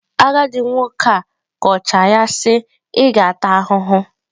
Agadị nwoke a kọchaa ya sị" ị ga-ata ahụhụ ."